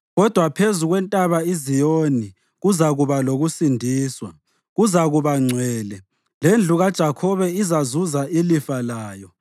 Kodwa phezu kweNtaba iZiyoni kuzakuba lokusindiswa; kuzakuba ngcwele, lendlu kaJakhobe izazuza ilifa layo.